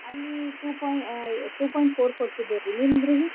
ಅಲ್ಲಿ two poi~ two point four ಕೊಡ್ತಿದ್ರರ್ರಿ ನಿಮದ್ರಿ?